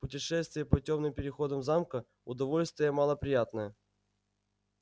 путешествие по тёмным переходам замка удовольствие мало приятное